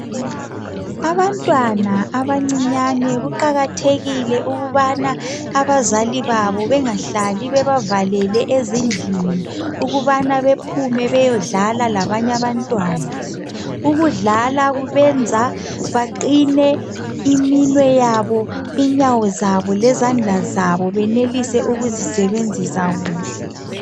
Abantwana abancinyane kuqakathekile ukubana abazali babo bengahlali bebangabavalele ezindlini ukubana bephume beyodlala labanye abantwana. Ukudlala kubenza baqine iminwe yabo, inyawo zabo lezandla zabo benelise ukuzisebenzisa kuhle